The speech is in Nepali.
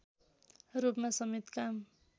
रूपमा समेत काम